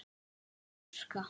Ég fæ að þurrka.